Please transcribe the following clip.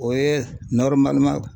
O ye